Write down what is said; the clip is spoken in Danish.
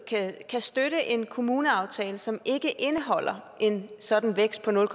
kan støtte en kommuneaftale som ikke indeholder en sådan vækst på nul